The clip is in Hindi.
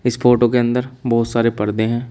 इस फोटो के अंदर बहुत सारे पर्दे हैं।